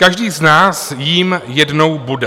Každý z nás jím jednou bude.